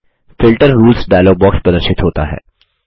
filter rules dialog box प्रदर्शित होता है